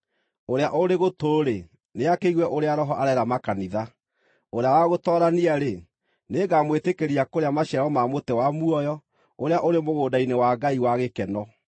Ũrĩa ũrĩ gũtũ-rĩ, nĩakĩigue ũrĩa Roho areera makanitha. Ũrĩa wa gũtoorania-rĩ, nĩngamwĩtĩkĩria kũrĩa maciaro ma mũtĩ wa muoyo, ũrĩa ũrĩ mũgũnda-inĩ wa Ngai wa gĩkeno.